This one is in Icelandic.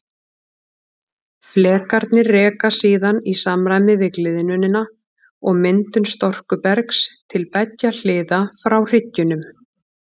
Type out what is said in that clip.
Flekarnir reka síðan í samræmi við gliðnunina og myndun storkubergs til beggja hliða frá hryggjunum.